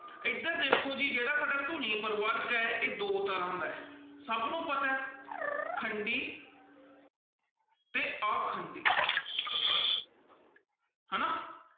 ਇੱਧਰ ਦੇਖੋ ਜੀ ਜਿਹੜਾ ਸਾਡਾ ਧੁਨੀ ਪ੍ਰਵਰਗ ਹੈ ਇਹ ਦੋ ਤਰ੍ਹਾਂ ਦਾ ਹੈ, ਸਭ ਨੂੰ ਪਤਾ ਹੈ ਖੰਡੀ ਤੇ ਆਖੰਡੀ ਹਨਾ,